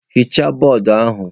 Hichaa bọọdụ ahụ!